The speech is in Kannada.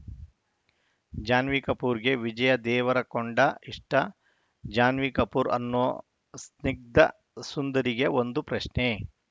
ಜಾನ್ವಿ ಕಪೂರ್‌ಗೆ ವಿಜಯ್‌ ದೇವರಕೊಂಡ ಇಷ್ಟ ಜಾನ್ವಿ ಕಪೂರ್‌ ಅನ್ನೋ ಸ್ನಿಗ್ಧ ಸುಂದರಿಗೆ ಒಂದು ಪ್ರಶ್ನೆ